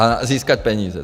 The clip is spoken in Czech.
A získat peníze.